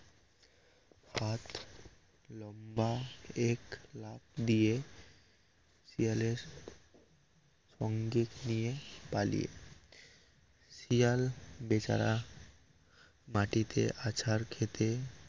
লম্বা এক লাফ দিয়ে শিয়ালের সঙ্গে নিয়ে পালিয়ে শিয়াল বেচারা মাটিতে আছার খেতে